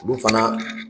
Olu fana